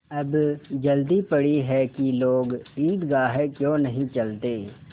अब जल्दी पड़ी है कि लोग ईदगाह क्यों नहीं चलते